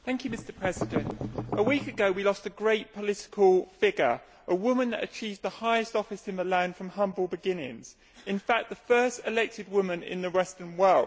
Mr President, a week ago we lost a great political figure, a woman who achieved the highest office in the land from humble beginnings in fact, the first elected woman in the western world.